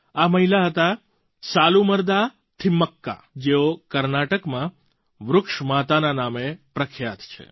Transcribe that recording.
આ મહિલાં હતાં સાલુમરદા થિમક્કા જેઓ કર્ણાટકમાં વૃક્ષ માતાના નામે પ્રખ્યાત છે